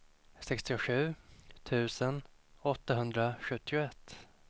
sextiosju tusen åttahundrasjuttioett